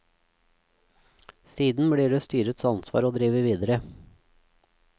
Siden blir det styrets ansvar å drive videre.